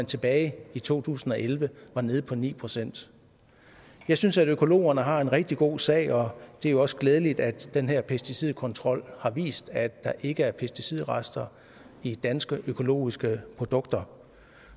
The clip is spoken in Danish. tilbage i to tusind og elleve var nede på ni procent jeg synes at økologerne har en rigtig god sag og det er jo også glædeligt at den her pesticidkontrol har vist at der ikke er pesticidrester i danske økologiske produkter